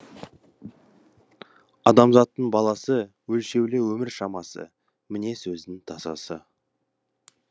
адамзаттың баласы өлшеулі өмір шамасы міне сөздің тазасы